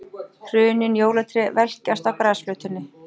Hrunin jólatré velkjast á grasflötinni.